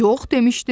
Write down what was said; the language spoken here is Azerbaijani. Yox, demişdin!